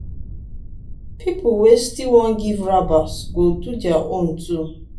pipol wey still wan giv rabas go do their own too